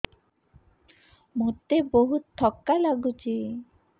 ମୋତେ ବହୁତ୍ ଥକା ଲାଗୁଛି